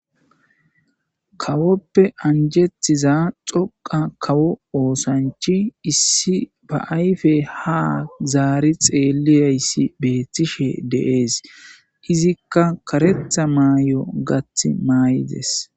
Kawoppe anjetiza xoqa kawo oosanchi issi ba ayfe ha zaari xeeliyayssi beettishe deees izikka karetha mayy7o gath maay7ides.